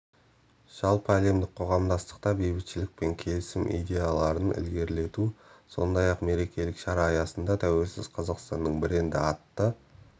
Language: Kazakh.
жалпыәлемдік қоғамдастықта бейбітшілік пен келісім идеяларын ілгерілету сондай-ақ мерекелік шара аясында тәуелсіз қазақстанның бренді атты